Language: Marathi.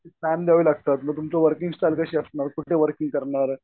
टाइम द्यावं लागणार मग तुमची वर्किंग स्टाईल कशी असणार? कुठे वर्किंग करणार?